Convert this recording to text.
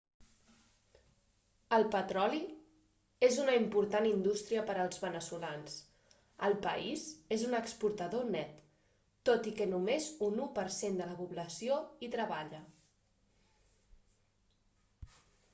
el petroli és una important indústria per als veneçolans el país és un exportador net tot i que només un u per cent de la població hi treballa